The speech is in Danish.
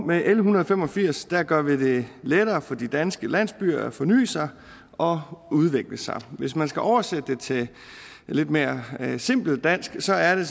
med l en hundrede og fem og firs gør vi det lettere for de danske landsbyer at forny sig og udvikle sig hvis man skal oversætte det til lidt mere simpelt dansk så er det